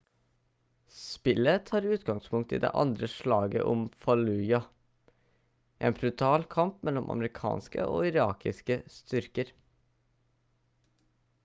spillet tar utgangspunkt i det andre slaget om fallujah en brutal kamp mellom amerikanske og irakiske styrker